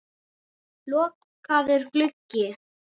Lokaður gluggi.